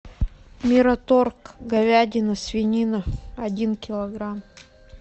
мираторг говядина свинина один килограмм